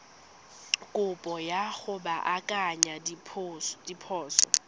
kopo ya go baakanya diphoso